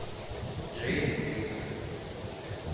джейн эйр